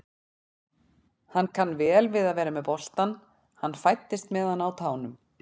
Hann kann vel við að vera með boltann, hann fæddist með hann á tánum.